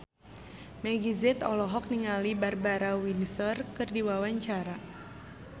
Meggie Z olohok ningali Barbara Windsor keur diwawancara